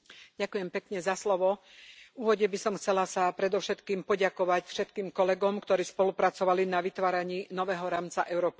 Pán predsedajúci, v úvode by som chcela sa predovšetkým poďakovať všetkým kolegom, ktorí spolupracovali na vytváraní nového rámca Europass.